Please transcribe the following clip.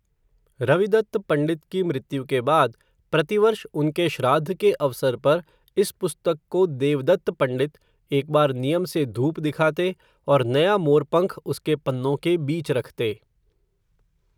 रविदत्त पण्डित की मृत्यु के बाद, प्रतिवर्ष उनके श्राद्ध के अवसर पर, इस पुस्तक को, देवदत्त पण्डित, एक बार नियम से धूप दिखाते, और नया मोरपंख उसके पन्नों के बीच रखते